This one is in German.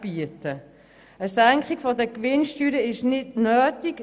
Eine Senkung der Gewinnsteuern ist nicht nötig.